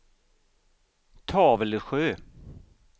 Tavelsjö